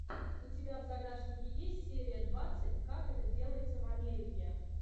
у тебя в загашнике есть серия двадцать как это делается в америке